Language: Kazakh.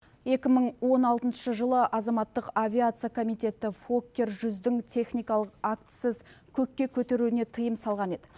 екі мың он алтыншы жылы азаматтық авиация комитеті фоккер жүздің техникалық актісіз көкке көтерілуіне тыйым салған еді